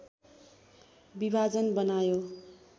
विभाजन बनायो